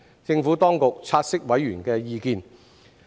政府當局察悉委員的意見。